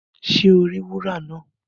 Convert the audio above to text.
Ṣe o ri wúrà náà?